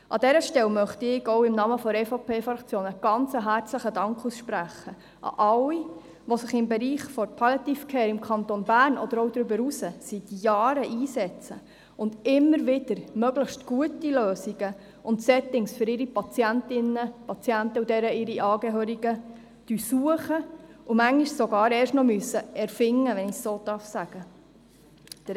An dieser Stelle möchte ich auch im Namen der EVP-Fraktion einen ganz herzlichen Dank an alle aussprechen, die sich im Bereich der Palliative Care im Kanton Bern oder auch darüber hinaus seit Jahren einsetzen, die immer wieder möglichst gute Lösungen und Settings für ihre Patientinnen und Patienten sowie deren Angehörigen suchen und die Lösungen manchmal sogar erst noch erfinden müssen, wenn ich es so sagen darf.